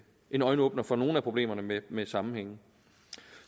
en øjenåbner for nogle af problemerne med med sammenhængen